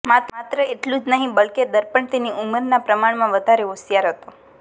માત્ર એટલું જ નહિ બલકે તર્પણ તેની ઉંમરના પ્રમાણમાં વધારે હોશિયાર હતો